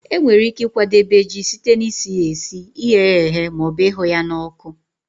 E nwere ike ịkwadebe ji site na isi ya esi, ighe ya eghe ma ọbụ ịhụ ya n'ọkụ.